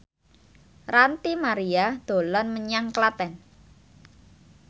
Ranty Maria dolan menyang Klaten